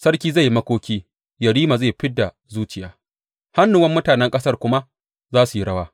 Sarki zai yi makoki, yerima zai fid da zuciya, hannuwan mutanen ƙasar kuma za su yi rawa.